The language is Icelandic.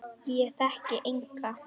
Ég þekkti enga.